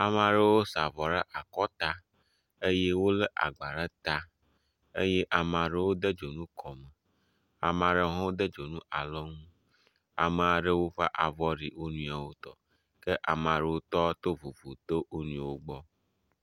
Amea ɖewo sa avɔ ɖe akɔta eye wolé agba ɖe ta eye amea ɖewo de dzonu kɔ, amea ɖewo ƒe avɔ ɖi wo nɔewo tɔ. Ke amea ɖewo tɔ to vovo tso wo nɔewo gbɔ.